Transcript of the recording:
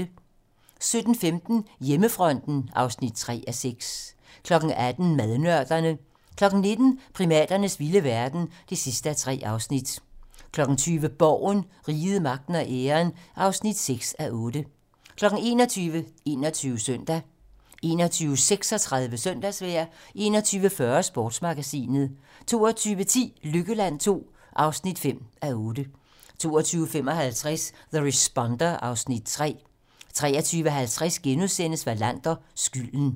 17:15: Hjemmefronten (3:6) 18:00: Madnørderne 19:00: Primaternes vilde verden (3:3) 20:00: Borgen - Riget, Magten og Æren (6:8) 21:00: 21 Søndag 21:36: Søndagsvejr 21:40: Sportsmagasinet 22:10: Lykkeland II (5:8) 22:55: The Responder (Afs. 3) 23:50: Wallander: Skylden *